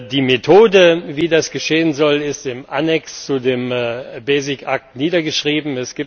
Die Methode, wie das geschehen soll, ist im Annex zu dem Basic Act niedergeschrieben.